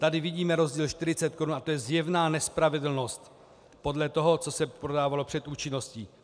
Tady vidíme rozdíl 40 korun a to je zjevná nespravedlnosti podle toho, co se prodávalo před účinností.